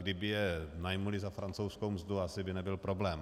Kdyby je najali za francouzskou mzdu, asi by nebyl problém.